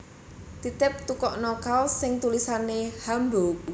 Titip tukokno kaos sing tulisane Hamburg